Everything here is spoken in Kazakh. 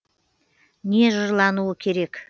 не жырлануы керек